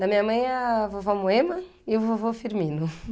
Da minha mãe é a vovó Moema e o vovô Firmino.